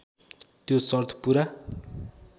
त्यो सर्त पुरा